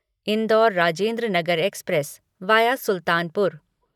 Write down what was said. Indore Rajendranagar express via Sultanpur